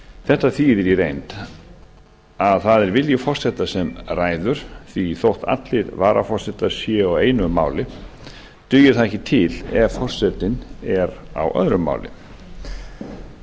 þetta þýðir að í raun er það vilji forseta sem ávallt ræður því að þótt allir varaforsetar séu á einu máli dugir það ekki til ef ágreiningur er við forseta alþingis